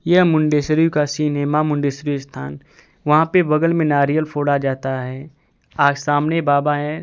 यह मुंडेश्वरी का सीन है मां मुंडेश्वरी स्थान वहां पे बगल मे नारियल फोड़ा जाता हैं आ सामने बाबा हैं।